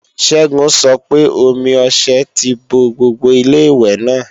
Ṣẹ́gun sọ pé omi ọṣẹ ti bo gbogbo Ilé-ìwẹ̀ náà